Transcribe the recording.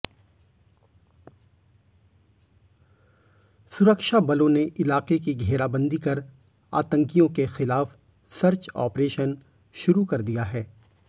सुरक्षाबलों ने इलाके की घेराबंदी कर आतंकियों के खिलाफ सर्च ऑपरेशन शुरू कर दिया है